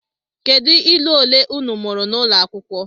Kedu ilu ole unu mụrụ n’ụlọ akwụkwọ?